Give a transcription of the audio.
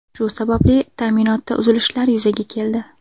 Shu sababli ta’minotda uzilishlar yuzaga keldi.